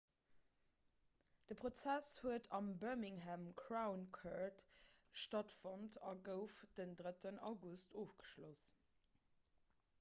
de prozess huet am birmingham crown court stattfonnt a gouf den 3 august ofgeschloss